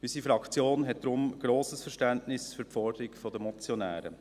Unsere Fraktion hat daher grosses Verständnis für die Forderung der Motionäre.